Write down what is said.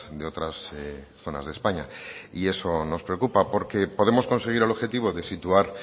de otras zonas de españa y eso nos preocupa porque podemos conseguir el objetivo de situar